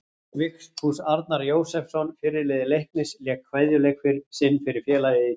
Vigfús Arnar Jósepsson fyrirliði Leiknis lék kveðjuleik sinn fyrir félagið í dag.